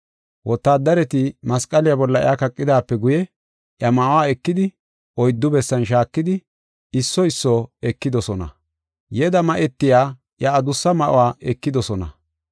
Wotaaddareti masqaliya bolla iya kaqidaape guye, iya ma7uwa ekidi, oyddu bessan shaakidi, isso isso ekidosona. Yeda ma7etiya iya adussa ma7uwa ekidosona.